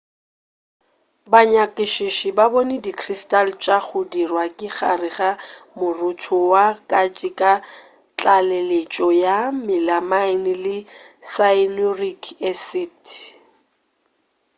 banyakišiši ba bone di crystal tša go dirwa ka gare ga morotho wa katse ka tlaleletšo ya melamine le cyanuric acid